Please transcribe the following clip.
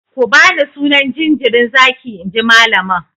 Ku bani sunan jinjirin zaki inji malamin!